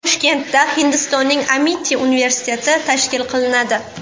Toshkentda Hindistonning Amiti universiteti tashkil qilinadi.